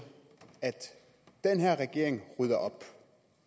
at den her regering rydder op